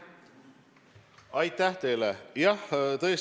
Aitäh teile!